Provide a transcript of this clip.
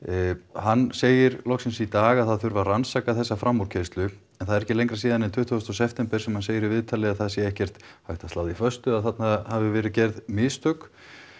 hann segir loksins í dag að það þurfi að rannsaka þessa framúrkeyrslu en það er ekki lengra síðan en tuttugasta september sem hann segir í viðtalið að það sé ekkert hægt að slá því föstu að þarna hafi verið gerð mistök